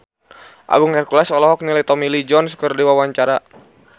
Agung Hercules olohok ningali Tommy Lee Jones keur diwawancara